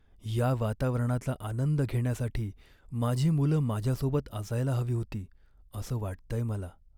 या वातावरणाचा आनंद घेण्यासाठी माझी मुलं माझ्यासोबत असायला हवी होती असं वाटतंय मला.